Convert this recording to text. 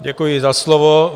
Děkuji za slovo.